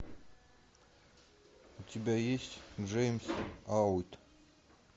у тебя есть джеймс аут